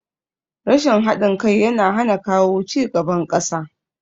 Rashin haɗin kai yana hana kawo cigaban ƙasa